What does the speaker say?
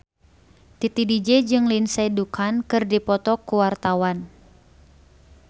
Titi DJ jeung Lindsay Ducan keur dipoto ku wartawan